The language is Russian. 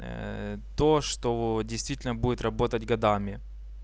то что действительно будет работать годами